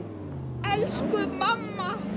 Elsku amma!